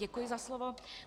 Děkuji za slovo.